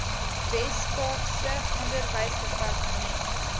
wes kaapse onderwysdepartement